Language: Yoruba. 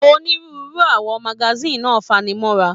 Onírúurú awọ magasin náà fanimọra.